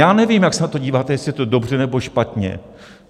Já nevím, jak se na to díváte, jestli je to dobře, nebo špatně.